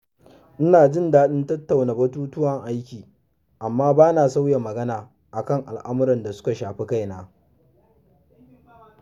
Ina jin daɗin tattauna batutuwan aiki amma bana sauya magana a kan al’amurran da suka shafi kaina.